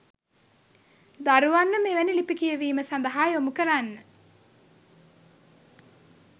දරුවන්ව මෙවැනි ලිපි කියවීම සඳහා යොමුකරන්න